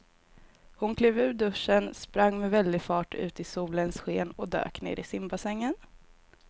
Hon klev ur duschen, sprang med väldig fart ut i solens sken och dök ner i simbassängen.